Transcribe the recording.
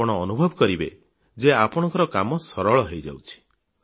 ଆପଣ ଅନୁଭବ କରିବେ ଯେ ଆପଣଙ୍କ କାମ ସଫଳ ହୋଇଯାଉଛି